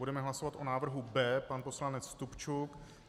Budeme hlasovat o návrhu B, pan poslanec Stupčuk.